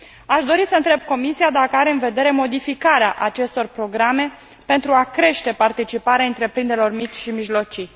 Aș dori să întreb Comisia dacă are în vedere modificarea acestor programe pentru a crește participarea întreprinderilor mici și mijlocii.